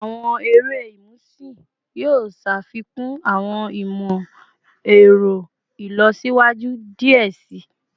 Awọn ere imusin yoo ṣafikun awọn imọ-ẹrọ ilọsiwaju diẹ sii